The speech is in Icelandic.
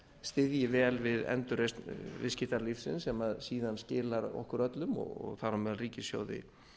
styðji vel við endurreisn viðskiptalífsins sem síðar skilar okkur öllu og þar á meðal ríkissjóði